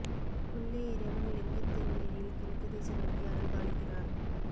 உள்ளே இறைவன் லிங்கத் திருமேனியில் கிழக்கு திசை நோக்கி அருள்பாலிக்கிறார்